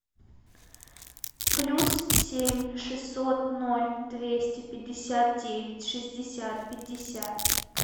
плюс семь шестьсот ноль двести пятьдесят девять шестьдесят пятьдесят